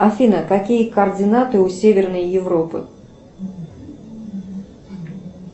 афина какие координаты у северной европы